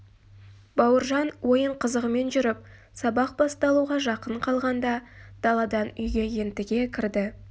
бауыржан ойын қызығымен жүріп сабақ басталуға жақын қалғанда даладан үйге ентіге кірді